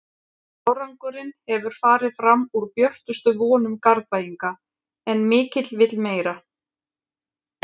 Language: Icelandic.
Árangurinn hefur farið fram úr björtustu vonum Garðbæinga en mikill vill meira.